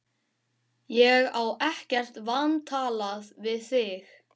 Ég á ekkert vantalað við þig